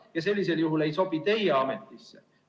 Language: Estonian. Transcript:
Ja sellisel juhul ei sobi teie ametisse.